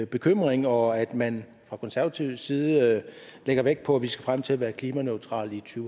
bekymring og at man fra konservativ side lægger vægt på at vi skal frem til at være klimaneutralt i to